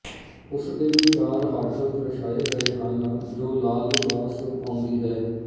ਉਸ ਦੇ ਵੀ ਚਾਰ ਹੱਠ ਦਰਸਾਏ ਗਏ ਹਨ ਜੋ ਲਾਲ ਲਿਬਾਸ ਪਾਉਂਦੀ ਹੈ